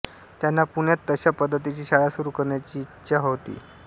त्यांना पुण्यात तशा पद्धतीची शाळा सुरू करण्याची इचछा होती